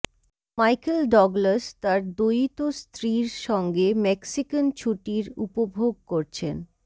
Michael Douglas তার দয়িত স্ত্রীর সঙ্গে মেক্সিকান ছুটির উপভোগ করছেন